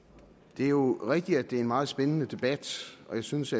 det er jo rigtigt at det er en meget spændende debat og jeg synes